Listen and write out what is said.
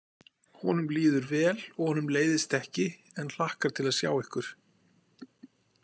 Honum líður vel og honum leiðist ekki en hlakkar til að sjá ykkur.